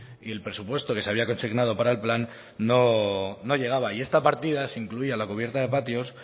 y el presupuesto que se había consignado para el plan no llegaba y esta partida se incluía la cubierta de patios